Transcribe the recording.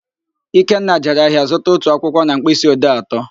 Ikenna jere ahịa zụta otu akwụkwọ na mkpịsị odee atọ